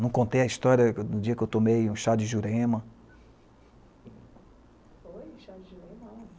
Não contei a história do dia que eu tomei um chá de jurema.